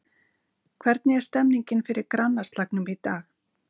Hvernig er stemningin fyrir grannaslagnum í dag?